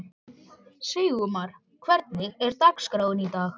Sigurmar, hvernig er dagskráin í dag?